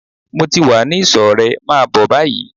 Mo ti wá ní ìsò rẹ, máa bó báyìí!